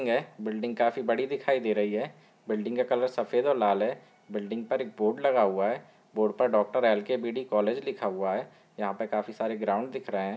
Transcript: Building हैं building काफी बड़ी दिखाई दे रही है। बिल्डिंग का कलर सफ़ेद और लाल है। बिल्डिंग पर एक बोर्ड लगा हुआ है। बोर्ड पर डॉक्टर एल.के.बी.डी. कॉलेज लिखा हुआ है। यहाँ पर काफी सारे ग्राउंड दिख रहे हैं।